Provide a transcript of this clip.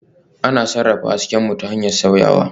Ana sarrafa hasken mu ta hanyar sauyawa